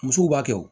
Musow b'a kɛ wo